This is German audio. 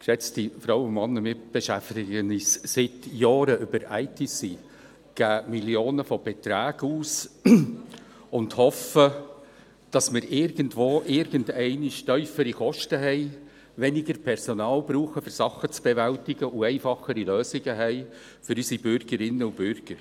Geschätzte Frauen und Männer, wir beschäftigen uns seit Jahren mit ITC, geben Millionen von Beträgen aus und hoffen, dass wir irgendwo irgendwann tiefere Kosten haben, weniger Personal brauchen, um Sachen zu bewältigen, und für unsere Bürgerinnen und Bürger einfachere Lösungen haben.